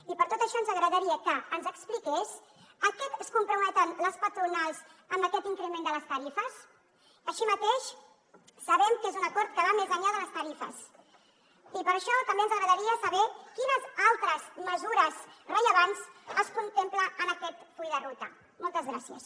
i per tot això ens agradaria que ens expliqués a què es comprometen les patronals amb aquest increment de les tarifes així mateix sabem que és un acord que va més enllà de les tarifes i per això també ens agradaria saber quines altres mesures rellevants es contempla en aquest full de ruta moltes gràcies